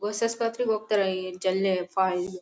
ಹೊಸ ಆಸ್ಪತ್ರೆಗೆ ಹೋಗ್ತಾರೆ ಈ ಚಳ್ಳೆ --